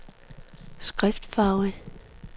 skriftfarve